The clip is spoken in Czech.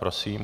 Prosím.